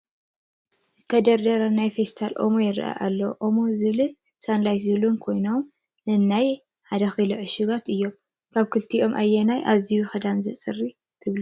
ዝተደርደሩ ናይ ፌስታል ኦሞታት ይራኣዩ ኣለው፡፡ ኦሞ ዝብልን ሳንላይት ዝብሉን ኮይኖም ነናይ 1ኪሎ ዕሽግ እዮም፡፡ ካብ ክልቲኦም ኣየንኡ ኣዝዩ ክዳን የፅሪ ትብሉ?